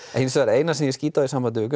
eina sem ég skýt á í sambandi við